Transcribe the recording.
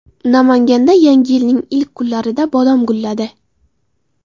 Namanganda Yangi yilning ilk kunlarida bodom gulladi.